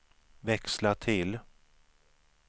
växla till